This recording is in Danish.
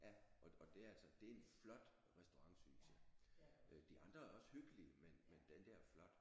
Ja og det altså det er en flot restaurant synes jeg øh de andre er også hyggelige men men den der er flot